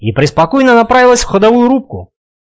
и преспокойно направилась в ходовую рубку